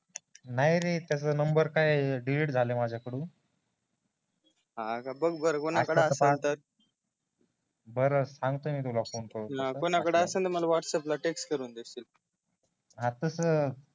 नाही रे त्याच्या नंबर काय डिलीट झाला माझ्या कडून हा का बघ बर कोणा कड बरं सांगतो मी तुला फोन करून कोणाकडे असेल तर मला व्हाट्सअँप ला टेक्स्ट करून देशील हा तस